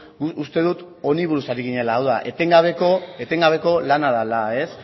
nik uste dut honi buruz ari ginela hau da etengabeko lana dela